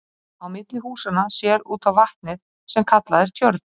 Á milli húsanna sér út á vatnið sem kallað er tjörn.